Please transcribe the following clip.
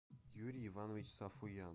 юрий иванович сафуян